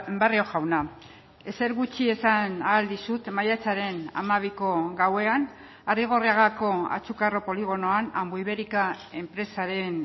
barrio jauna ezer gutxi esan ahal dizut maiatzaren hamabiko gauean arrigorriagako atxukarro poligonoan ambuibérica enpresaren